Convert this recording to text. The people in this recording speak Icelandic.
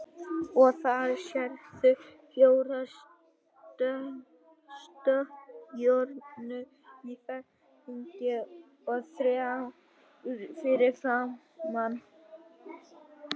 Og þarna sérðu fjórar stjörnur í ferningi og þrjár fyrir framan.